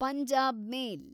Punjab ಮೇಲ್